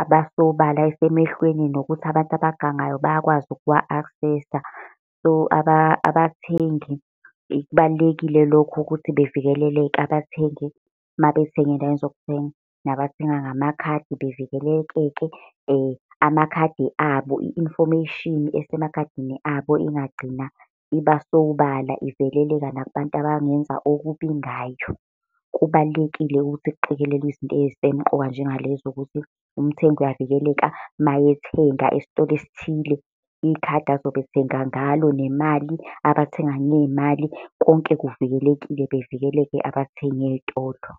aba sobala esemehlweni, nokuthi abantu abagangayo bayakwazi ukuwa-access-a. So, abathengi kubalulekile lokho ukuthi bavikeleleke abathengi mabethenga eyndaweni zokuthenga. Nabathenga ngamakhadi bevikelekeke amakhadi abo, i-information esemakhadini abo ingagcina iba sobala, iveleleka nakubantu abangenza okubi ngayo. Kubalulekile ukuthi kuqikelelwe izinto ey'semqoka njenga lezo, ukuthi umthengi uyavikeleka mayethenga esitolo esithile. Ikhadi azobe ethenga ngalo, nemali, abathenga ngey'mali, konke kuvikelekile, bavikeleke abathengi ey'tolo.